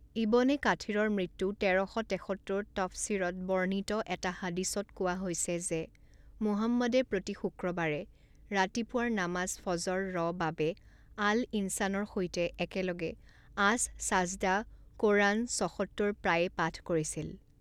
ইবনে কাথিৰৰ মৃত্যু তেৰ শ তেসত্তৰ তফছিৰত বৰ্ণিত এটা হাদিছত কোৱা হৈছে যে মুহাম্মাদে প্ৰতি শুক্ৰবাৰে ৰাতিপুৱাৰ নামাজ ফজৰ ৰ বাবে আল ইনছানৰ সৈতে একেলগে আছ ছাজদা কোৰআন ছসত্তৰ প্ৰায়ে পাঠ কৰিছিল।